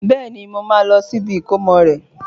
Bẹ́ẹ̀ni, mo máa lọ sí ibi ìkómọ rẹ̀